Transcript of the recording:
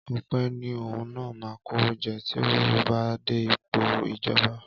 Ọpẹ ní òun náà máa kówó jẹ tí ó bá dé ipò ìjọba.